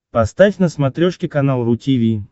поставь на смотрешке канал ру ти ви